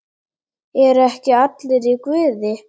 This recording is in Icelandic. ERU EKKI ALLIR Í GUÐI?